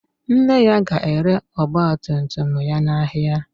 Nne ya ga-ere ọgbatumtum ya n'ahịa